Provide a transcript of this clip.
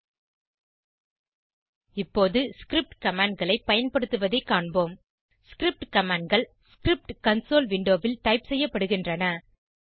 httpchemappsstolafedujmoldocs இப்போது script commandகளை பயன்படுத்துவதை காண்போம் ஸ்கிரிப்ட் commandகள் ஸ்கிரிப்ட் கன்சோல் விண்டோவில் டைப் செய்யப்படுகின்றன